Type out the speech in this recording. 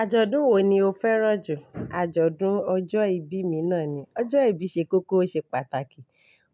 Oojọdun wo ni o fẹràn ju? Ajọdun ọjọ ìbí mi náà ni. Ọjọ ìbí ṣe kókó, o ṣe pàtàkì.